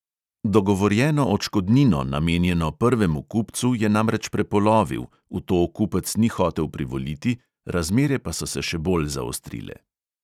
Dogovorjeno odškodnino, namenjeno prvemu kupcu, je namreč prepolovil, v to kupec ni hotel privoliti, razmere pa so se še bolj zaostrile.